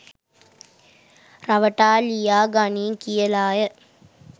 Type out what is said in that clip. රවටා ලියා ගනියි කියලාය.